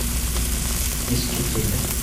искитиме